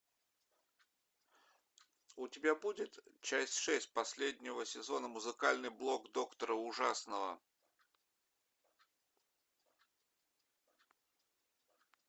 у тебя будет часть шесть последнего сезона музыкальный блог доктора ужасного